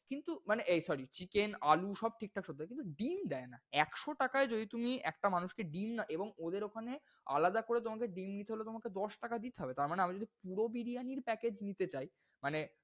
কিন্তু মানে এই sorry chicken আলু সব ঠিকঠাক সেদ্ধ হয় কিন্তু ডিম দেয় না। একশো টাকাই যদি তুমি একটা মানুষকে ডিম না এবং ওদের ওখানে আলাদা করে তমাকে ডিম নিতে হলে দশ তাকে দিতে হবে। তারমানে আমি যদি পুরো বিরিয়ানির package নিতে চাই মানে,